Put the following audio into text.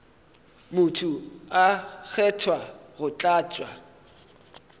motho a kgethwa go tlatša